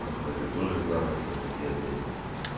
посмотри тоже для вас не плохии обменики